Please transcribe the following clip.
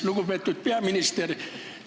Lugupeetud peaminister!